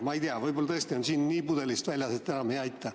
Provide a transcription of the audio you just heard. Aga ma ei tea, võib-olla tõesti on džinn pudelist väljas, nii et enam ei aita.